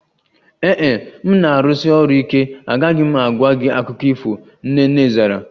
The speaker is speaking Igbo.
Ee e, m na-arụsi ọrụ ike, agaghị m agwa gị akụkọ ifo, Nene zara